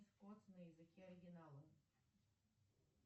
на языке оригинала